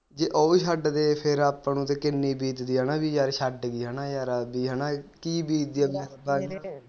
ਜੇ ਓਵੀ ਛੱਡਦੇ ਫਿਰ ਆਪ ਨੂੰ ਤੇ ਕਿਨ੍ਹੀ ਬੀਤਦੀ ਆ ਹੈਨਾ ਵੀ ਯਾਰ ਛੱਡ ਗਈ ਹੈਨਾ ਯਾਰ ਕੀ ਬੀਤਦੀ